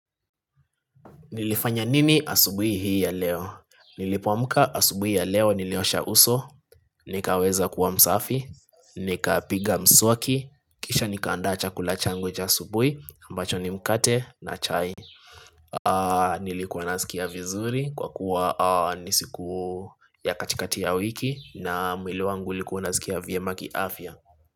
Nilifanya nini asubui hii ya leo? Nilipoamka asubui ya leo niliosha uso, nikaweza kuwa msafi, nika piga mswaki, kisha nikapanda chakula changu cha asubui, ambacho ni mkate na chai. Nilikuwa nasikia vizuri kwa kuwa nisiku ya katikati ya wiki na mwili wangu ulikuwa unasikia vyemaki afya.